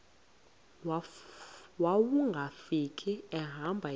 wawungafika ehamba yedwa